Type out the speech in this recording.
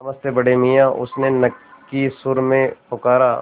नमस्ते बड़े मियाँ उसने नक्की सुर में पुकारा